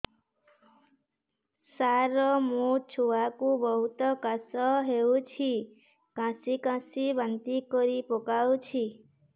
ସାର ମୋ ଛୁଆ କୁ ବହୁତ କାଶ ହଉଛି କାସି କାସି ବାନ୍ତି କରି ପକାଉଛି